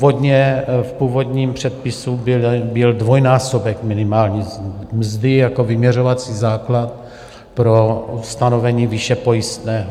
V původním předpisu byl dvojnásobek minimální mzdy jako vyměřovací základ pro stanovení výše pojistného.